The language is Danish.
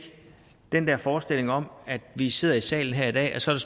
den der forestilling om at vi sidder i salen her i dag og så